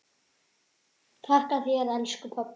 Þakka þér elsku pabbi.